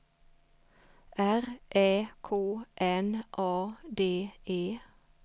R Ä K N A D E